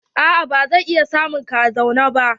A'a ba zan iya samun ka a zauren ba.